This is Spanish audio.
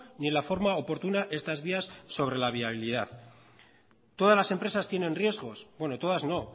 ni en la forma oportuna estas vías sobre la viabilidad todas las empresas tienen riesgos bueno todas no